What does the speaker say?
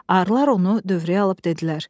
Arılar onu dövrəyə alıb dedilər: